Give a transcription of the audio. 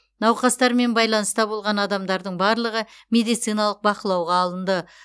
науқастармен байланыста болған адамдардың барлығы медициналық бақылауға алынды